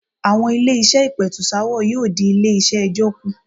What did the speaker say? Àwọn ilé-iṣẹ́ ìpètùsááwọ̀ yóò dí iṣẹ́ ilé-ẹjọ́ kù.